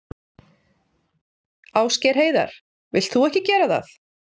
Ásgeir Heiðar: Vilt þú ekki gera það?